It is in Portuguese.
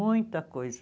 Muita coisa.